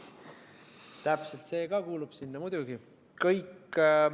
Täpselt, see ka kuulub sinna, muidugi.